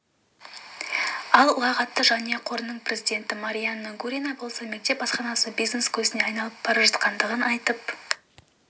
ал ұлағатты жанұя қорының президенті марианна гурина болса мектеп асханасы бизнес көзіне айналып бара жатқандығын айтып